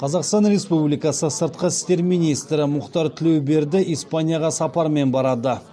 қазақстан республикасының сыртқы істер министрі мұхтар тілеуберді испанияға сапармен барады